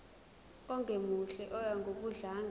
ongemuhle oya ngokudlanga